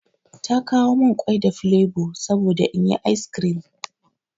Ta kawo min ƙwai da flevo saboda inyi ice cream.